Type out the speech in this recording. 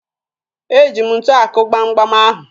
Eji m ntu akụ gbamgbam ahụ